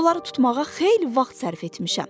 Onları tutmağa xeyli vaxt sərf etmişəm.